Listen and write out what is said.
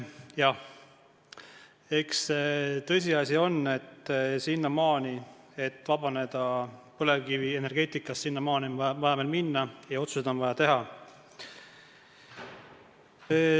Jah, tõsiasi on, et sinnamaani, kuni saab vabaneda põlevkivienergeetikast, on veel minna ja on vaja otsuseid teha.